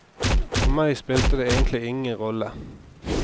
For meg spilte det egentlig ingen rolle.